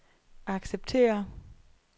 acceptere